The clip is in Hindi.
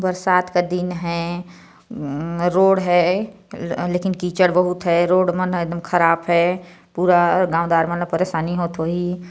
--बरसात का दिन है रोड है लकिन कीचर बोहुत है रोड मन एकदम ख़राब है पूरा गांव दर परेशानी होत हुई।